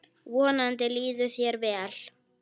Vonandi líður þér vel.